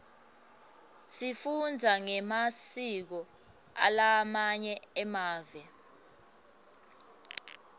sifundza ngemasiko alamanye mave